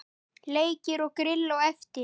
Leikir og grill á eftir.